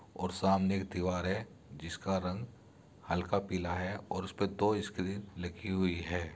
और सामने एक दीवार है जिसका रंग हल्का पीला है और उसपे दो स्क्रीन लगी हुई हैं।